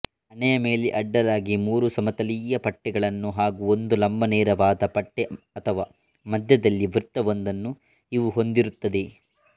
ಹಣೆಯ ಮೇಲೆ ಅಡ್ಡಲಾಗಿ ಮೂರು ಸಮತಲೀಯ ಪಟ್ಟೆಗಳನ್ನು ಹಾಗೂ ಒಂದು ಲಂಬನೇರವಾದ ಪಟ್ಟೆ ಅಥವಾ ಮಧ್ಯದಲ್ಲಿ ವೃತ್ತವೊಂದನ್ನು ಇವು ಹೊಂದಿರುತ್ತದೆ